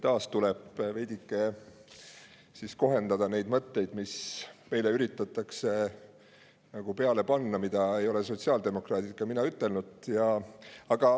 Taas tuleb veidike neid mõtteid, mida meile üritatakse, aga mida ei ole ei sotsiaaldemokraadid ega mina ütelnud.